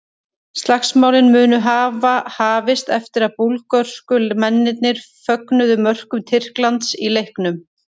Slagsmálin munu hafa hafist eftir að búlgörsku mennirnir fögnuðu mörkum Tyrklands í leiknum.